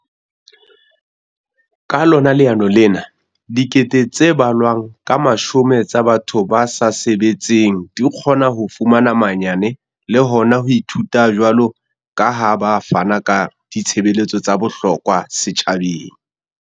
Ka lona leano lena, dikete tse balwang ka mashome tsa batho ba sa sebetseng di kgona ho fumana manyane le hona ho ithuta jwalo ka ha ba fana ka ditshebeletso tsa bohlokwa setjhabeng.